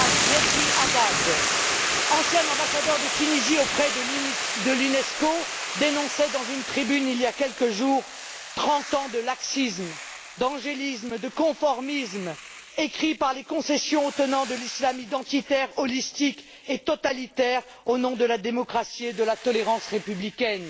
Mezri Haddad, ancien ambassadeur de Tunisie auprès de l'Unesco, dénonçait dans une tribune, il y a quelques jours, trente ans de laxisme, d'angélisme, de conformisme, écrits par les concessions aux tenants de l'islam identitaire, holistique et totalitaire, au nom de la démocratie et de la tolérance républicaines.